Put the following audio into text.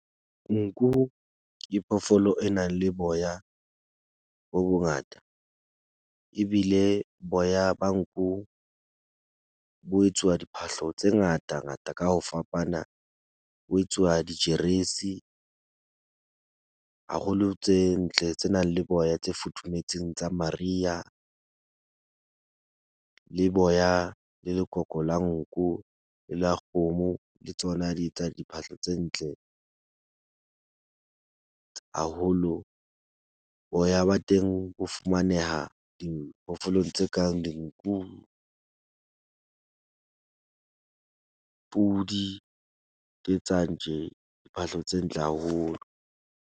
Nku ke phoofolo e nang le boya bo bongata. Ebile boya ba nku bo etsuwa diphahlo tse ngata ngata ka ho fapana. Ho etsuwa dijeresi haholo tse ntle, tse nang le boya tse futhumetseng tsa mariha. Le boya le lekoko la nku le la kgomo le tsona di etsa diphahlo tse ntle haholo. Boya ba teng ho fumaneha diphoofolong tse kang dinku , pudi ke tsa ntje phahlo tse ntle haholo.